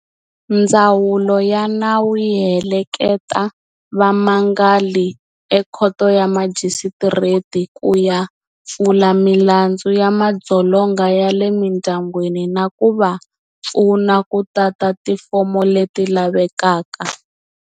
Ndzawulo ya nawu yi heleketa vamangali ekhoto ya majisitireti ku ya pfula milandzu ya madzolonga ya le mindyangwini na ku va pfuna ku tata tifomo leti lavekaka.